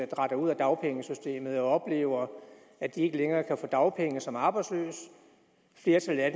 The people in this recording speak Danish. dratter ud af dagpengesystemet oplever at de ikke længere kan få dagpenge som arbejdsløse og flertallet af